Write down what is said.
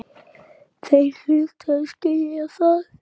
Þeir hlutu að skilja það.